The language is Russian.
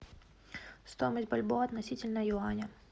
стоимость бальбоа относительно юаня